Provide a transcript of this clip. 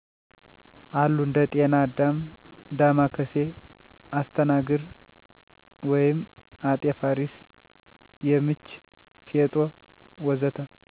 አሉ እንደ ጤና አዳም፣ ዳማከሴ፣ አስተናግር ( አጤ ፋሪስ )፣ የምች፣ ፌጦ፣ ወ.ዘ.ተ...